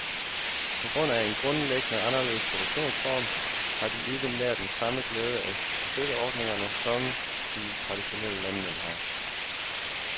På grund af en grundlæggende anderledes produktionsform, har de ikke nær den samme glæde af støtteordningerne som de traditionelle landmænd har.